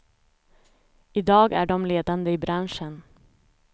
I dag är de ledande i branschen.